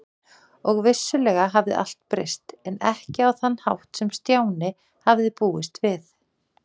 Og vissulega hafði allt breyst, en ekki á þann hátt sem Stjáni hafði búist við.